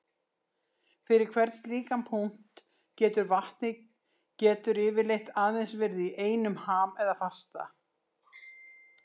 Fyrir hvern slíkan punkt getur vatnið getur yfirleitt aðeins verið í einum ham eða fasa.